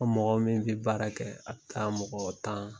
A mɔgɔ min bi baara kɛ , a bi taa mɔgɔ tan